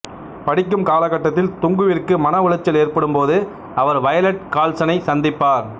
படிக்கும் காலகட்டத்தில் துங்குவிற்கு மன உலைச்சல் ஏற்படும் போது அவர் வயலட் கால்சனைச் சந்திப்பார்